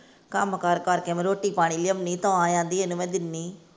ਕੰਮ ਕਾਰ ਕਰ ਕੇ ਮੈਂ ਰੋਟੀ ਪਾਣੀ ਲਿਆਨੀ ਤਾਂ ਆਹਂਦੀ ਇਹਨੂੰ ਮੈਂ ਦਿੰਨੀ।